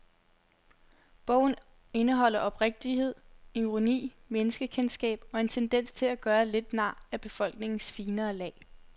Bogen indeholder oprigtighed, ironi, menneskekendskab og en tendens til at gøre lidt nar af befolkningens finere lag.